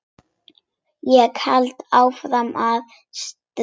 Ég held áfram að stríða.